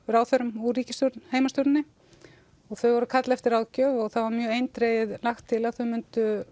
ráðherrum úr ríkisstjórn heimastjórninni og þau voru að kalla eftir ráðgjöf og það var mjög eindregið lagt til að þau myndu